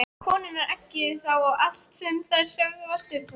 Konurnar eggjuðu þá og allt sem þær sögðu var stuðlað.